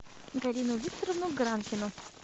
галину викторовну гранкину